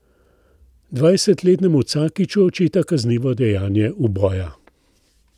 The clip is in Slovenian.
Dvajsetletnemu Cakiću očita kaznivo dejanje uboja.